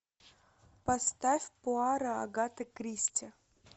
поставь пуаро агаты кристи